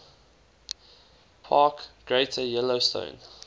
park greater yellowstone